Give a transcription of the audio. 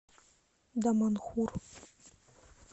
даманхур